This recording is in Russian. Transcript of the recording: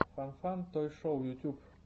фан фан той шоу ютьюб